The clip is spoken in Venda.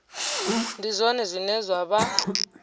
ndi zwone zwine zwa vha